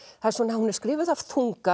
hún er skrifuð af þunga